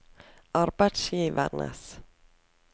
arbeidsgivernes